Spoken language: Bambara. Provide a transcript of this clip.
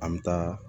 An bɛ taa